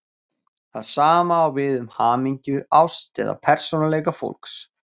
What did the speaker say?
Það sama á við um hamingju, ást eða persónuleika fólks.